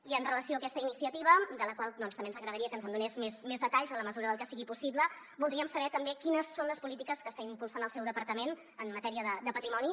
i amb relació a aquesta iniciativa de la qual també ens agradaria que ens en donés més detalls en la mesura del que sigui possible voldríem saber també quines són les polítiques que està impulsant el seu departament en matèria de patrimoni